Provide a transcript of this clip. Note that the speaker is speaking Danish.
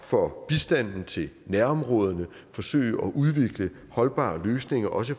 for bistanden til nærområderne forsøge at udvikle holdbare løsninger også